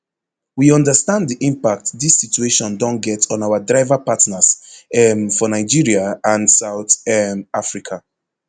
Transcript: we understand di impact dis situation don get on our driverpartners um for nigeria and south um africa